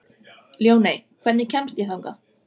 Ljóney, hvernig kemst ég þangað?